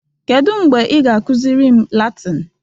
Kedu mgbe ị ga-akụziri m Latịn?